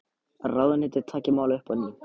Ráðuneytið taki málið upp á ný